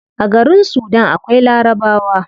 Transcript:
A garin sudan akwai larabawa